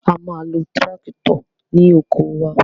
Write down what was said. A ma lo tíráktọ̀ ní oko wa.